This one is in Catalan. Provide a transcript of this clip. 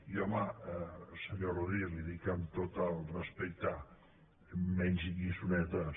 i home senyor rodríguez li ho dic amb tot el respecte menys lliçonetes